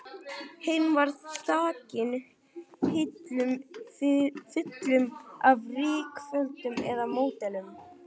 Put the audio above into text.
Hinn var þakinn hillum fullum af rykföllnum módelum.